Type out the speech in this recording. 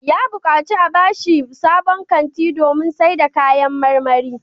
Ya buƙaci a ba shi sabon kanti domin sayar da kayan marmari.